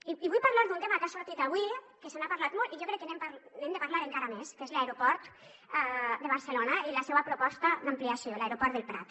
i vull parlar d’un tema que ha sortit avui que se n’ha parlat molt i jo crec que n’hem de parlar encara més que és l’aeroport de barcelona i la seua proposta d’ampliació l’aeroport del prat